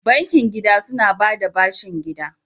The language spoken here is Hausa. Bankin gida suna ba da bashin gida.